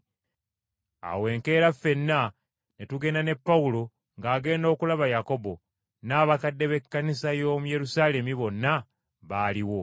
Awo enkeera ffenna ne tugenda ne Pawulo ng’agenda okulaba Yakobo, n’abakadde b’Ekkanisa y’omu Yerusaalemi bonna baaliwo.